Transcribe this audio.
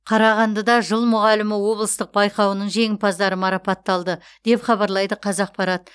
қарағандыда жыл мұғалімі облыстық байқауының жеңімпаздары марапатталды деп хабарлайды қазақпарат